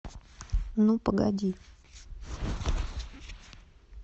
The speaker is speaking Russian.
ну погоди